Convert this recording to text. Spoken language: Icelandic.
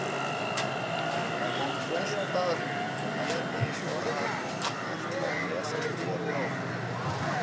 Hann hélt það nú, en lét eins og hann ætlaði að lesa bréfið áður.